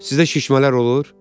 Sizə şişmələr olur?